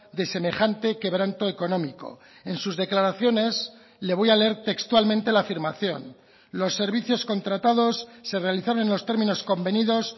de semejante quebranto económico en sus declaraciones le voy a leer textualmente la afirmación los servicios contratados se realizaron en los términos convenidos